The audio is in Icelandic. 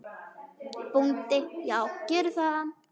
BÓNDI: Já, gerið það.